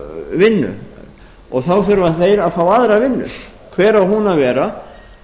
vinnu þá þurfa þeir að fá aðra vinnu hver á hún að vera